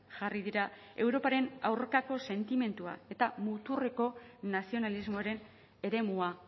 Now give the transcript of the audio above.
jarri dira europaren aurkako sentimendua eta muturreko nazionalismoaren eremua